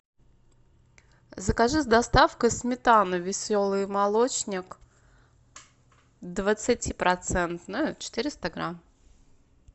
закажи с доставкой сметану веселый молочник двадцати процентную четыреста грамм